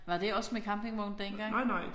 Var det også med campingvogn dengang?